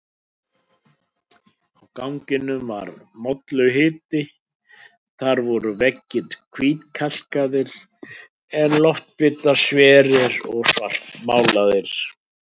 Á ganginum var molluhiti, þar voru veggir hvítkalkaðir en loftbitar sverir og svartmálaðir.